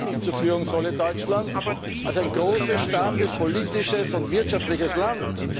Ich bekenne mich zur Führungsrolle Deutschlands als ein großes, starkes, politisches und wirtschaftliches Land.